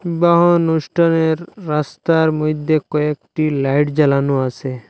বা অনুষ্ঠানের রাস্তার মইধ্যে কয়েকটি লাইট জ্বালানো আসে।